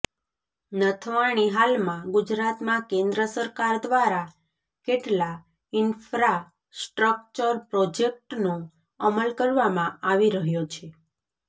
નથવાણી હાલમાં ગુજરાતમાં કેન્દ્ર સરકાર દ્વારા કેટલા ઇન્ફ્રાસ્ટ્રકચર પ્રોજેકટનો અમલ કરવામાં આવી રહ્યો છે